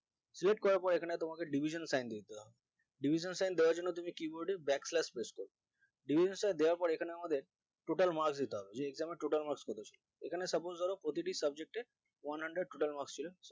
select করার পর এখানে তোমাকে division sign দিতে হবে division sign দেওয়ার জন্য তুমি keyboard এর keyboard back slash press করবে division দেওয়ার পর এখানে আমাদের total marks দিতে হবে যে এই ক্রমে total marks কত ছিল এখানে suppose ধর প্রতিটি subject এ one hundred total marks ছিল